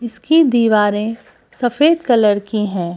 इसकी दीवारें सफेद कलर की हैं।